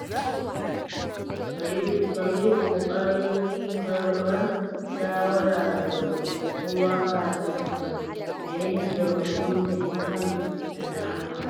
Ka yi ƙoƙarin karɓar shawara daga kowa kafin ka yanke hukunci kan al’amura.